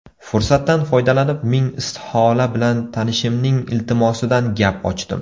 Fursatdan foydalanib ming istihola bilan tanishimning iltimosidan gap ochdim.